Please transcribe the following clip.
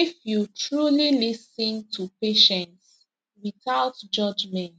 if you truly lis ten to patients without judgment